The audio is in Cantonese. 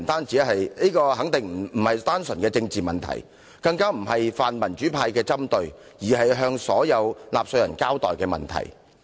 這肯定不是單純的政治問題，也不是泛民主派的針對，而是有必要向所有納稅人交代的問題。